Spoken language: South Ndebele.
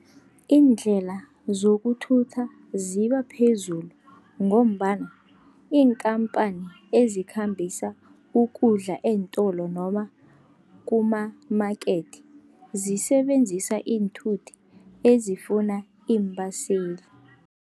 Iindlela zokuthutha ziba phezulu, ngombana iinkhamphani ezikhambisa ukudla eentolo noma kuma-market zisebenzisa iinthuthi ezifuna iimbaseli.